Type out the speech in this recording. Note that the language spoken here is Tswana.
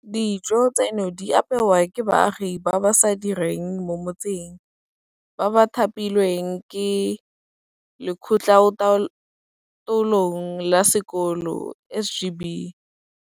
Dijo tseno di apewa ke baagi ba ba sa direng mo motseng, ba ba thapilweng ke Lekgotlataolong la Sekolo SGB.